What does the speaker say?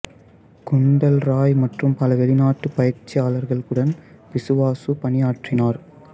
குந்தல் ராய் மற்றும் பல வெளிநாட்டு பயிற்சியாளர்களுடன் பிசுவாசு பணியாற்றினார்